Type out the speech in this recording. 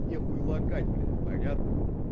нехуй лакать блядь понятно